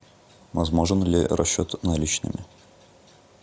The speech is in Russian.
возможен ли расчет наличными